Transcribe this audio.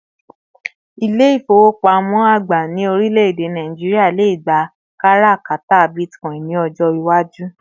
İle-ifowopamo àgbà ní orileede Nigeria lè gbà kárakára Bitcoin ni ọjọ iwaju